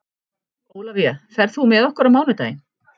Ólafía, ferð þú með okkur á mánudaginn?